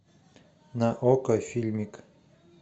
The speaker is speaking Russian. на окко фильмик